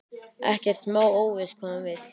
Ekkert smá óviss hvað hann vill.